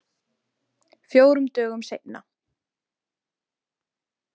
Fjórum dögum seinna.